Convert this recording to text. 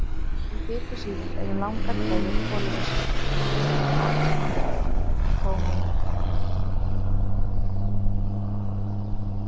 Í fitusýrunum eru langar keðjur kolefnisatómum.